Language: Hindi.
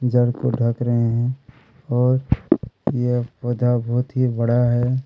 जड़ को ढ़क रहै है और यह पौधा बहोत ही बड़ा है।